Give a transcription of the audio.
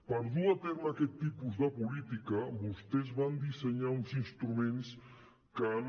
per dur a terme aquest tipus de política vostès van dissenyar uns instruments que han